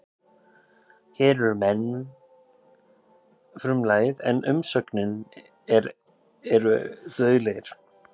Hér er menn frumlagið en umsögnin er eru dauðlegir.